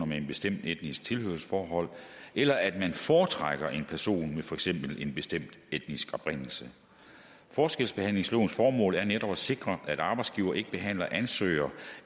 med et bestemt etnisk tilhørsforhold eller at man foretrækker en person med for eksempel en bestemt etnisk oprindelse forskelsbehandlingslovens formål er netop at sikre at arbejdsgivere ikke behandler ansøgere